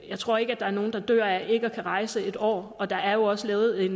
jeg tror ikke der er nogen der dør af ikke at kunne rejse i en år og der er jo også lavet